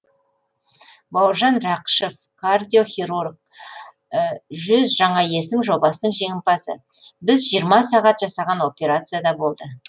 бауыржан рақышев кардиохирург жүз жаңа есім жобасының жеңімпазы біз жиырма сағат жасаған операция да болды